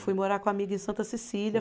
Fui morar com a amiga em Santa Cecília.